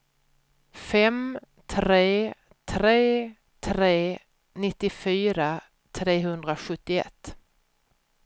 fem tre tre tre nittiofyra trehundrasjuttioett